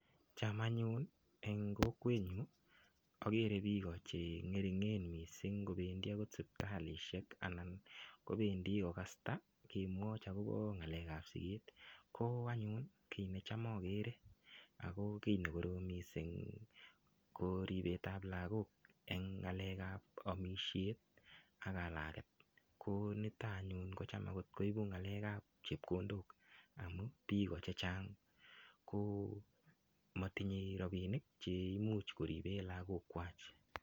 Cham anyun eng kokwenyu agere biik chengeringen mising kobendi agot sipitalisiek anan kobendi kokasta kemwochi agobo siget. Ko anyun kiy ne cham agere ago ne korom mising eng yu ko ribetab lagok eng ngalekab amisiet ak kalaget. Konito anyun ko cham koibu ngalekab chepkondok amu biik chechang ko motinyei ropinik che imuch koriben lagokwai.